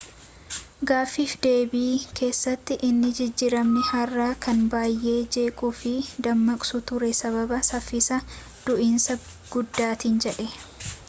gaafiif deebii keessatti inni jijiramnii haaraa kan baay'ee jeequu fi dammaqsu ture sababa saffisa du'iinsa guddaatiin jedhe